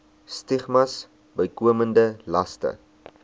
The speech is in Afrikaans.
stigmas bykomende laste